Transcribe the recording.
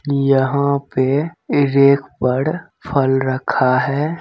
यहाँ पे रेक पर फल रखा है।